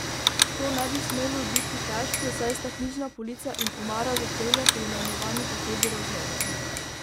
To ne bi smelo biti težko, saj sta knjižna polica in omara za čevlje poimenovani tako z razlogom.